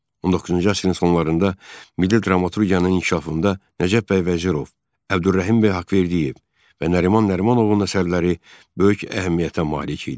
19-cu əsrin sonlarında milli dramaturgiyanın inkişafında Nəcəf bəy Vəzirov, Əbdürrəhimbəy Haqverdiyev və Nəriman Nərimanovun əsərləri böyük əhəmiyyətə malik idi.